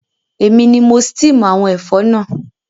Èmi ni mo steam àwon ẹ̀fọ́ náà